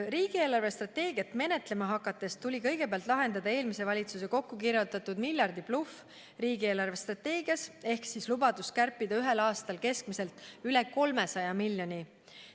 Riigi eelarvestrateegiat menetlema hakates tuli kõigepealt lahendada eelmise valitsuse kokku kirjutatud miljardibluff riigi eelarvestrateegias ehk lubadus kärpida ühel aastal keskmiselt üle 300 miljoni euro.